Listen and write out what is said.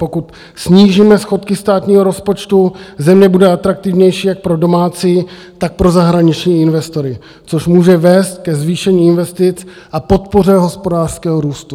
Pokud snížíme schodky státního rozpočtu, země bude atraktivnější jak pro domácí, tak pro zahraniční investory, což může vést ke zvýšení investic a podpoře hospodářského růstu.